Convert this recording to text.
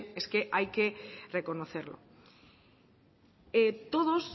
es que hay que reconocerlo todos